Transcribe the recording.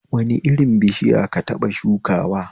Wani irin bishiya ka taɓa shukawa